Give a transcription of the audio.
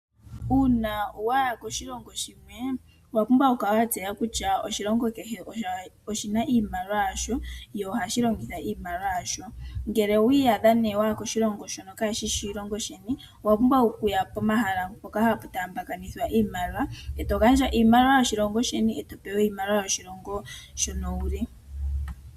Uuna waya koshilongo shimwe owa pumbwa okukala watseya kutya oshilongo kehe oshina iimaliwa yasho, yo oha shi longitha iimaliwa yasho. Ngele wiyadha nee waya koshilongo shono kashishi oshilongo sheni, owapumbwa okuya pomahala mpoka hapu taamba kanithwa iimaliwa eto gandja iimaliwa yoshilongo sheni eto pewa iimaliwa yoshilongo shono wuli.